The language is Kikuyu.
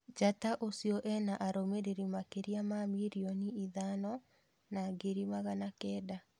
Njata ũcio ena arũmĩrĩri makĩria ma mirioni ithano na ngiri magana kenda.